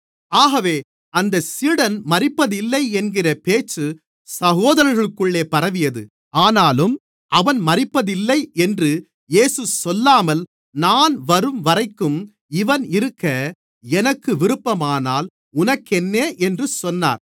ஆகவே அந்தச் சீடன் மரிப்பதில்லை என்கிற பேச்சு சகோதரர்களுக்குள்ளே பரவியது ஆனாலும் அவன் மரிப்பதில்லை என்று இயேசு சொல்லாமல் நான் வரும்வரைக்கும் இவன் இருக்க எனக்கு விருப்பமானால் உனக்கென்ன என்று சொன்னார்